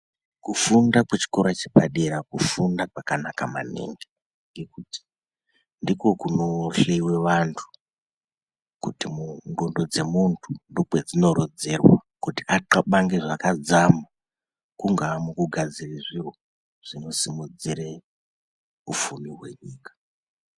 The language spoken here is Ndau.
Kufunda kwechikora chepadera kufunda kwanaka maningi ngekuti ndikwo kunohleiwa vantu kuti ndxondo dzemuntu ndokwedzinorodzerwa kuti athabange zvakadzama kungaa mukugadzire zviro zvinosimudzire ufumi hwenyika.